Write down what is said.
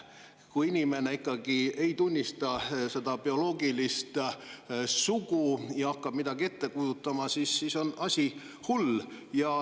Kui inimene ikkagi ei tunnista oma bioloogilist sugu ja hakkab midagi ette kujutama, siis on asi hull.